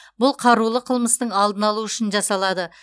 бұл қарулы қылмыстың алдын алу үшін жасалады